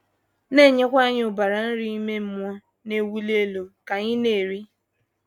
na - enyekwa anyị ụbara nri ime mmụọ na - ewuli elu ka anyị na - eri.